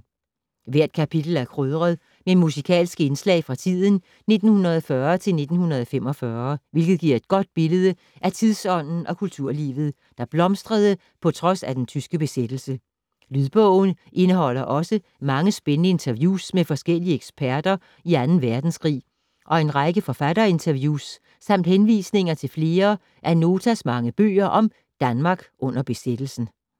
Hvert kapitel er krydret med musikalske indslag fra tiden 1940-1945, hvilket giver et godt billede af tidsånden og kulturlivet, der blomstrede på trods af den tyske besættelse. Lydbogen indeholder også mange spændende interviews med forskellige eksperter i Anden Verdenskrig og en række forfatterinterviews samt henvisninger til flere af Notas mange bøger om Danmark under besættelsen.